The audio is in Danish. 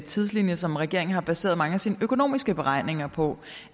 tidslinje som regeringen har baseret mange af sine økonomiske beregninger på